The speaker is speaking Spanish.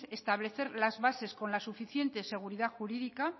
establecer las bases con la suficiente seguridad jurídica